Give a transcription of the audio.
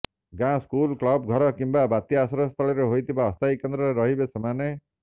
ଗାଁ school club ଘର କିମ୍ବା ବାତ୍ୟା ଆଶ୍ରୟସ୍ଥଳୀରେ ହୋଇଥିବା ଅସ୍ଥାୟୀ କେନ୍ଦ୍ରରେ ରହିବେ ସେମାନେ